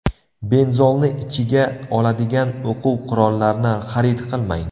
Benzolni ichiga oladigan o‘quv-qurollarni xarid qilmang.